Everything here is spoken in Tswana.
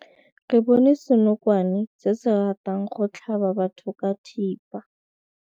Re bone senokwane se se ratang go tlhaba batho ka thipa.